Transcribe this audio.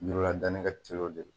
Yiriladani ka teliw de la